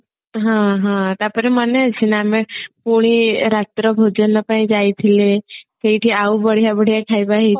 ହଁ ହଁ ତାପରେ ମନେ ଅଛି ନା ଆମେ ପୁଣି ରାତ୍ର ଭୋଜନ ପାଇଁ ଯାଇଥିଲେ ସେଇଠି ଆଉ ବଢିଆ ବଢିଆ ଖାଇବା ହେଇଥିଲା